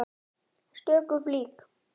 stöku flík.